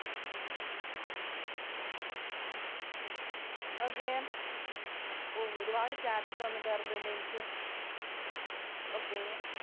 Okay. ഒരുപാട് chats വന്നു കേറുന്നുണ്ട്. എനിക്ക് okay.